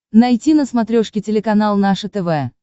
найти на смотрешке телеканал наше тв